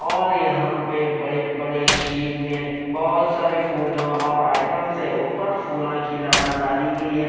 और यहां पे बड़े बड़े शीन में बहोत सारे फूलों और आईटम से ऊपर फूलों की लड़ा डाली गई है।